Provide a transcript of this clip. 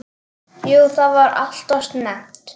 Jú það var alltof snemmt.